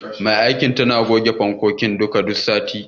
Mai aikin tana goge duka fankokin saman duk sati.